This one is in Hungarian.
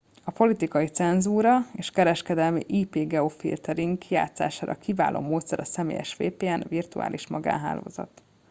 a politikai cenzúra és kereskedelmi ip-geofiltering kijátszására kiváló módszer a személyes vpn virtuális magánhálózat